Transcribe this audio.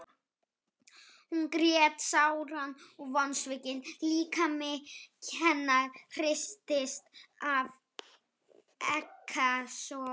Hún grét sáran og vonsvikinn líkami hennar hristist af ekkasogum.